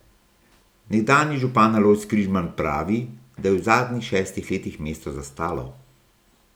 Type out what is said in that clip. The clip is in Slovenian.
Nekdanji župan Alojz Križman pravi, da je v zadnjih šestih letih mesto zastalo.